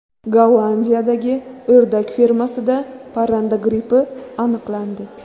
Gollandiyadagi o‘rdak fermasida parranda grippi aniqlandi.